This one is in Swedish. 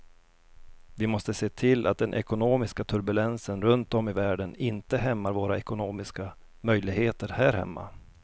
Vi måste se till att den ekonomiska turbulensen runt om i världen inte hämmar våra ekonomiska möjligheter här hemma.